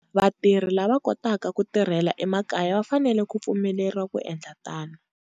Vatirhi lava va kotaka ku tirhela emakaya va fanele ku pfumeleriwa ku endla tano.